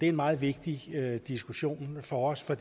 en meget vigtig diskussion for os for